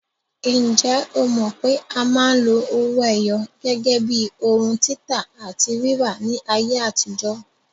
Ǹjẹ́ o mọ̀ pé a máa ń lo owó ẹyọ gẹ́gẹ́ bíi ohun títà àti rírà ní ayé àtijó?